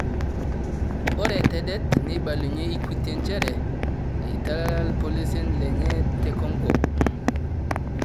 ore tedet neibalunyie equity njere eitalala ripolosien lenye te CONGO